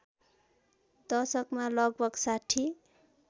दशकमा लगभग ६०